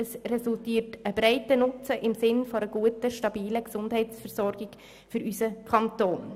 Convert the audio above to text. Es resultiert ein breiter Nutzen im Sinn einer guten, stabilen Gesundheitsversorgung für unseren Kanton.